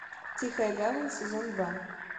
тихая гавань сезон два